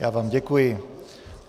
Já vám děkuji.